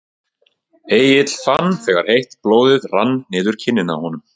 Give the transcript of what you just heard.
Egill fann þegar heitt blóðið rann niður kinnina á honum.